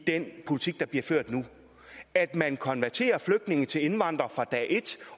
den politik der bliver ført nu er at man konverterer flygtninge til indvandrere fra dag et